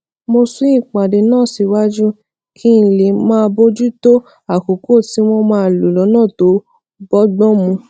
mo sún ìpàdé náà síwájú kí n lè máa bójú tó àkókò tí wón máa lò lónà tó bógbón mu